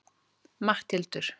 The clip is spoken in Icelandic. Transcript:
Matthildur